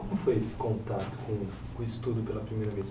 Como foi esse contato com com o estudo pela primeira vez?